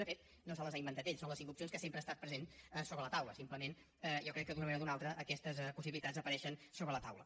de fet no se les ha inventat ell són les cinc opcions que sempre han estat presents sobre la taula simplement jo crec que d’una manera o d’una altra aquestes possibilitats apareixen sobre la taula